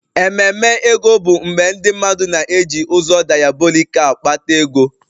Ememe ego bụ mgbe ndị mmadụ na-eji ụzọ diabolikal kpata ego